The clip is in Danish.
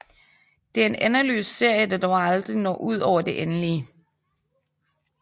Det er en endeløs serie der dog aldrig når ud over det endelige